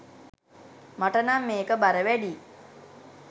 මට නං මේක බර වැඩියි